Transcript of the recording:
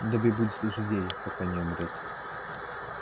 добби будет служить ей пока не умрёт